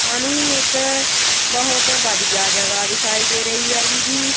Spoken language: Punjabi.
ਸਾਨੂੰ ਇੱਕ ਬਹੁਤ ਵਧੀਆ ਜਗ੍ਹਾ ਦਿਖਾਈ ਦੇ ਰਹੀ ਹੈਗੀ ਜੀ।